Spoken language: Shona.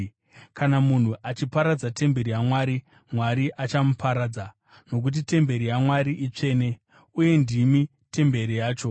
Kana munhu achiparadza temberi yaMwari, Mwari achamuparadza; nokuti temberi yaMwari itsvene, ndimi temberi yacho.